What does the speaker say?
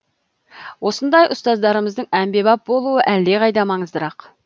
осындай ұстаздарымыздың әмбебап болуы әлдеқайда маңыздырақ